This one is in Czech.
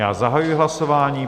Já zahajuji hlasování.